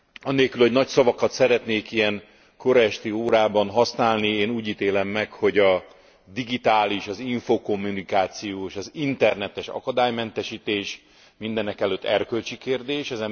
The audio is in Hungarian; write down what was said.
Anélkül, hogy nagy szavakat szeretnék ilyen kora esti órában használni, én úgy ítélem meg, hogy a digitális, az infókommunikáció és az internetes akadálymentesítés mindenekelőtt erkölcsi kérdés.